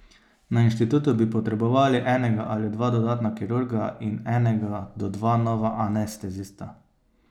Na inštitutu bi potrebovali enega ali dva dodatna kirurga in enega do dva nova anestezista.